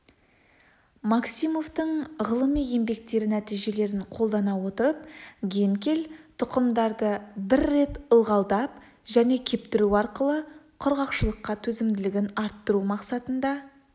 максимовтың ғылыми еңбектері нәтижелерін қолдана отырып генкель тұқымдарды бір рет ылғалдап және кептіру арқылы құрғақшылыққа төзімділігін арттыру мақсатында